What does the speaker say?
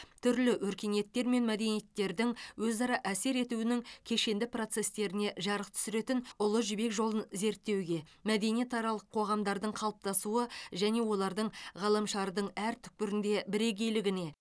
түрлі өркениеттер мен мәдениеттердің өзара әсер етуінің кешенді процестеріне жарық түсіретін ұлы жібек жолын зерттеуге мәдениетаралық қоғамдардың қалыптасуы және олардың ғаламшардың әр түкпірінде бірегейлігіне